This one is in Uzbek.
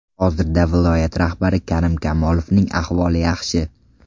Hozirda viloyat rahbari Karim Kamolovning ahvoli yaxshi.